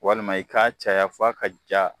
Walima i k'a caya f'a ka ja.